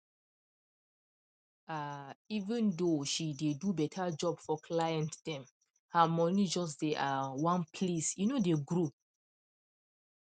um even though she dey do better job for client dem her money just dey um one place e no dey grow